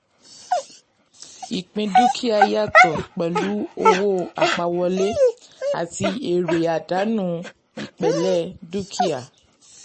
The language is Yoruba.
ìpín dúkìá yàtọ̀ pẹ̀lú owó àpawọlé àti èèrè/àdánù ipele um dúkìá.